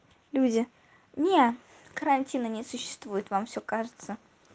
люди не карантина не существует вам все кажется